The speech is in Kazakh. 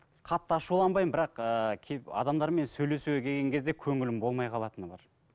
қатты ашуланбаймын бірақ ыыы адамдармен сөйлесуге келген кезде көңілім болмай қалатыны бар